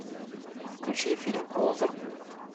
включи фильм лузер